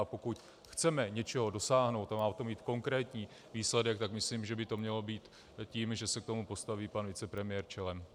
A pokud chceme něčeho dosáhnout a má o tom být konkrétní výsledek, tak myslím, že by to mělo být tím, že se k tomu postaví pan vicepremiér čelem.